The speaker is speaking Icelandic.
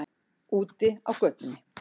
Úti á götunni.